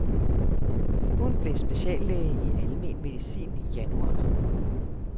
Hun blev speciallæge i almen medicin i januar.